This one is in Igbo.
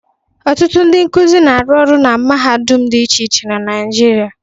Ọtụtụ ndị nkụzi na-arụ orụ na mahadum dị iche iche na Naịjirịa.